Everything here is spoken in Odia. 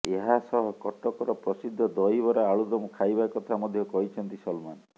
ଏହାସହ କଟକର ପ୍ରସିଦ୍ଧ ଦହିବରା ଆଳୁଦମ ଖାଇବା କଥା ମଧ୍ୟ କହିଛନ୍ତି ସଲମାନ